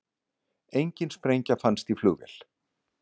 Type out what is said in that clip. Engin sprengja fannst í flugvél